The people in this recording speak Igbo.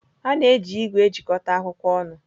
A na-eji igwe eji ejikọta akwụkwọ ọnụ.